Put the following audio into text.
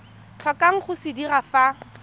tlhokang go se dira fa